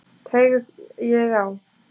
Teygið á.